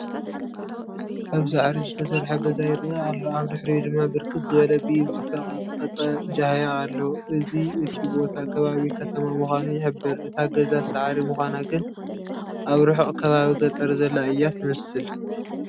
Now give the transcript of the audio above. ካብ ሳዕሪ ዝተሰርሐ ገዛ ይርአ ኣሎ፡፡ ኣብ ድሕሪኡ ድማ ብርክት ዝበለ ብኢድ ዝተቐጥቀጠ ጃህያ ኣሎ፡፡ እዚ እቲ ቦታ ከባቢ ከተማ ምዃኑ ይሕብር፡፡ እታ ገዛ ሳዕሪ ምዃና ግን ኣብ ርሑቕ ከባቢ ገጠር ዘላ እያ ትመስል፡፡